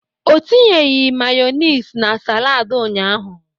Ọ tinyeghị Mayonezi na saladi ụnyaahụ.